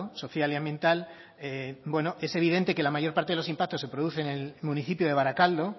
social y ambiental bueno es evidente que la mayor parte de los impactos se producen en el municipio de baracaldo